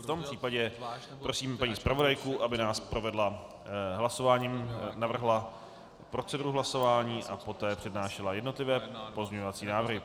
V tom případě prosím paní zpravodajku, aby nás provedla hlasováním, navrhla proceduru hlasování a poté přednášela jednotlivé pozměňovací návrhy.